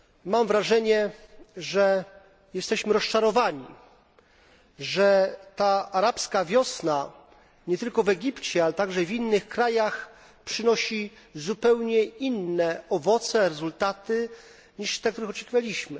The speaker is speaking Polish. Mam wrażenie, że jesteśmy rozczarowani, że ta Arabska Wiosna nie tylko w Egipcie, ale także w innych krajach przynosi zupełnie inne owoce, inne rezultaty niż te, jakich oczekiwaliśmy.